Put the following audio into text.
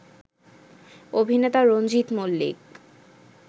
অভিনেতা রঞ্জিত মল্লিক